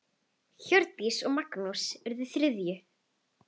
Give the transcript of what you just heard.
Hjördís og Magnús urðu þriðju.